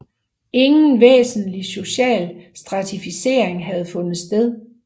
Ingen væsentlig social stratificering havde fundet sted